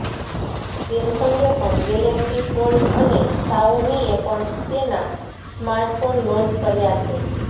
સેમસંગે પણ Galaxy Fold અને શાઓમીએ પણ તેનાં સ્માર્ટફોન લોન્ચ કર્યાં છે